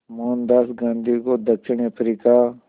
मोहनदास गांधी को दक्षिण अफ्रीका